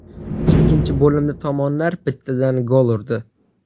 Ikkinchi bo‘limda tomonlar bittadan gol urdi.